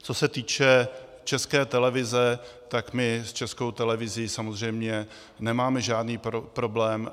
Co se týče České televize, tak my s Českou televizí samozřejmě nemáme žádný problém.